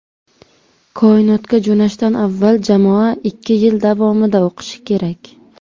Koinotga jo‘nashdan avval jamoa ikki yil davomida o‘qishi kerak.